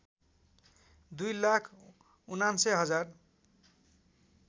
२ लाख ९९ हजार